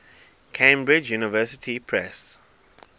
cambridge university press